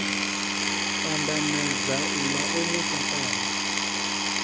pandamedza uḽa o mu swaṱaho